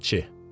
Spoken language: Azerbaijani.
Bələdçi.